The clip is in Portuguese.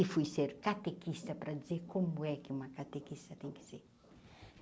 E fui ser catequista para dizer como é que uma catequista tem que ser.